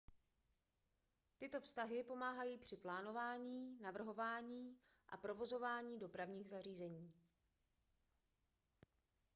tyto vztahy pomáhají při plánování navrhování a provozování dopravních zařízení